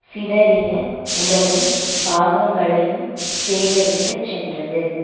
சிதறிய உடலின் பாகங்களையும் சேகரித்துச் சென்றது